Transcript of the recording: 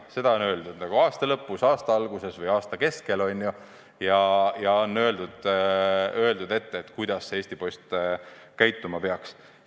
Seda on öeldud aasta lõpus, aasta alguses või aasta keskel, eks ole, ja on öeldud ette, kuidas Eesti Post käituma peaks.